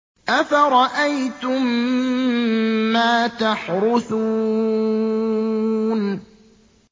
أَفَرَأَيْتُم مَّا تَحْرُثُونَ